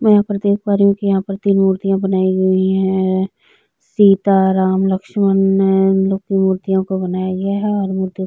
मैं यहाँ पर देख पा रही हूँ कि यहाँ पर तीन मूर्तियाँ बनाई गई है सीता राम लक्ष्मण मैम मूर्तियों को बनाया गया है और मूर्तियों --